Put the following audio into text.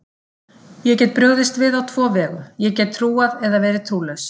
Ég get brugðist við á tvo vegu, ég get trúað eða verið trúlaus.